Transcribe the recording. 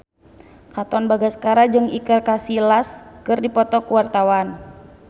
Katon Bagaskara jeung Iker Casillas keur dipoto ku wartawan